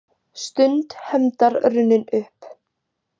Stund hefndar runnin upp